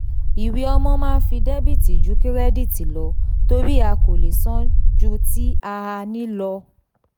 iwe owo maa nfi debiti ju kirediti lọ tori a ko le san ju ti a a ni lọ.